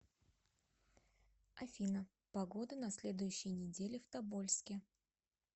афина погода на следующей неделе в тобольске